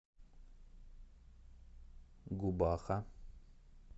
губаха